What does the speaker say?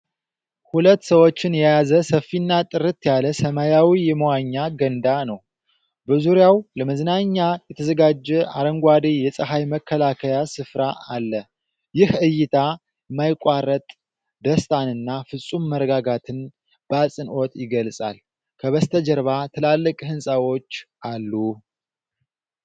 ሁለት ሰዎችን የያዘ ሰፊና ጥርት ያለ ሰማያዊ የመዋኛ ገንዳ ነው። በዙሪያው ለመዝናኛ የተዘጋጀ አረንጓዴ የፀሐይ መከላከያ ስፍራ አለ። ይህ ዕይታ የማያቋርጥ ደስታንና ፍጹም መረጋጋትን በአጽንዖት ይገልጻል። ከበስተጀርባ ትላልቅ ሕንፃዎች አሉ።